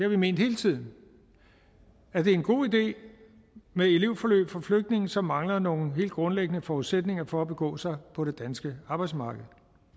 vi ment hele tiden at det er en god idé med elevforløb for flygtninge som mangler nogle helt grundlæggende forudsætninger for at begå sig på det danske arbejdsmarked